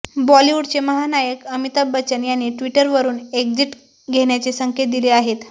बॉलिवूडचे महानायक अमिताभ बच्चन यांनी ट्विटरवरून एक्झिट घेण्याचे संकेत दिले आहेत